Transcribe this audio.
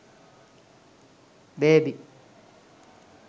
baby